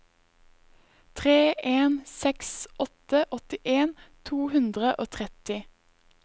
tre en seks åtte åttien to hundre og tretti